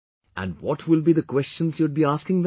Andwhat will be the questions you would be asking them